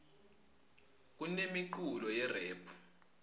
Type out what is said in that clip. kunemiculo yerephu